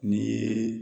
Ni